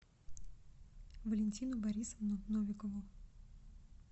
валентину борисовну новикову